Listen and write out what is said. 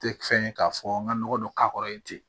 Tɛ fɛn ye k'a fɔ n ka nɔgɔ dɔ k'a kɔrɔ yen ten